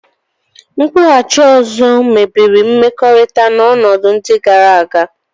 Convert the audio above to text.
Ịkwụghachi azụ mebiri mmekọrịta n'ọnọdụ ndị gara aga